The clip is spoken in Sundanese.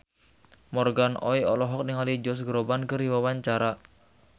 Morgan Oey olohok ningali Josh Groban keur diwawancara